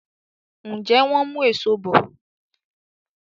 Njé wón mú Èṣó bọ?